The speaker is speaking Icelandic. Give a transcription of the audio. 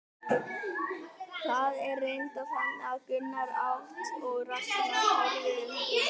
Það var reyndar þannig að Gunnar át og Ragnar horfði undrandi á.